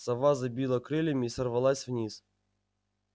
сова забила крыльями и сорвалась вниз